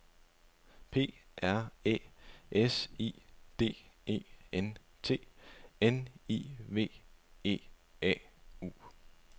P R Æ S I D E N T N I V E A U